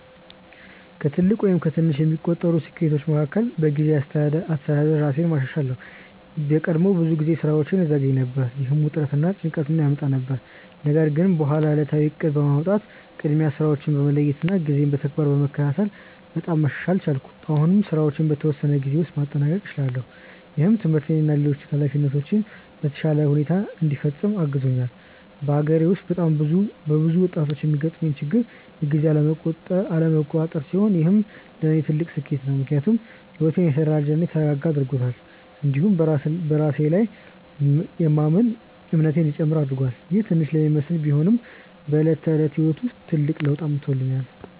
ከትልቅ ወይም ከትንሽ የሚቆጠሩ ስኬቶቼ መካከል በጊዜ አስተዳደር ራሴን ማሻሻል ነው። ቀድሞ ብዙ ጊዜ ስራዎቼን እዘገይ ነበር፣ ይህም ውጥረት እና ጭንቀት ያመጣ ነበር። ነገር ግን በኋላ ዕለታዊ እቅድ በማውጣት፣ ቅድሚያ ስራዎችን በመለየት እና ጊዜን በተግባር በመከታተል በጣም መሻሻል ቻልኩ። አሁን ስራዎቼን በተወሰነ ጊዜ ውስጥ ማጠናቀቅ እችላለሁ፣ ይህም ትምህርቴን እና ሌሎች ኃላፊነቶቼን በተሻለ ሁኔታ እንዲፈጽም አግዞኛል። በአገሬ ውስጥ በብዙ ወጣቶች የሚገጥም ችግር የጊዜ አለመቆጣጠር ስለሆነ ይህ ለእኔ ትልቅ ስኬት ነው። ምክንያቱም ሕይወቴን የተደራጀ እና የተረጋጋ አድርጎታል፣ እንዲሁም በራሴ ላይ የማምን እንዲጨምር አድርጎኛል። ይህ ትንሽ ለሚመስል ቢሆንም በዕለት ተዕለት ሕይወት ላይ ትልቅ ለውጥ አምጥቶኛል።